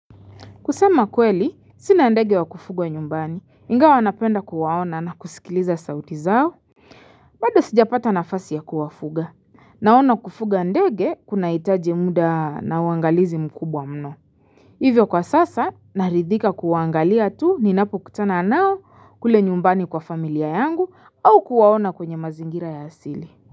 Kusema kweli, sina ndege wa kufugwa nyumbani, ingawa napenda kuwaona na kusikiliza sauti zao. Bado sija pata nafasi ya kuwafuga, naona kufuga ndege kuna hitaji muda na uangalizi mkubwa mno. Hivyo kwa sasa, naridhika kuangalia tu ninapo kutana nao kule nyumbani kwa familia yangu au kuwaona kwenye mazingira ya asili.